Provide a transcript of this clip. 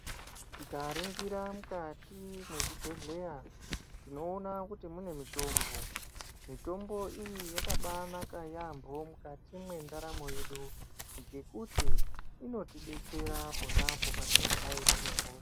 Tikaringira mukati mwezvibhedhleya tinoona kuti mune mitombo mitombo iyi yakabanaka yaambo mukati mwendaramo yedu ngekuti inotidetsera ponapo patinenge taitire m